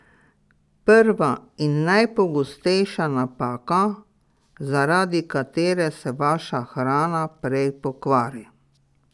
Prva in najpogostejša napaka, zaradi katere se vaša hrana prej pokvari.